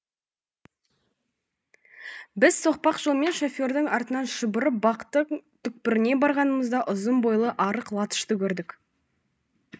біз соқпақ жолмен шофердың артынан шұбырып бақтың түкпіріне барғанымызда ұзын бойлы арық латышты көрдік